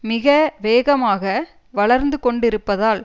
மிக வேகமாக வளர்ந்து கொண்டிருப்பதால்